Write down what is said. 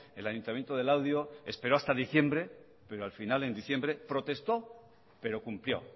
el ayuntamiento de laudio esperó hasta diciembre pero al final en diciembre protestó pero cumplió